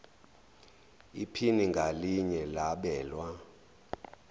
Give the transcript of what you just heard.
iphini ngalinye labelwa